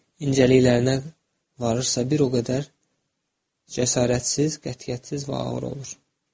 İncəliklərinə varırsa, bir o qədər cəsarətsiz, qətiyyətsiz və ağır olur.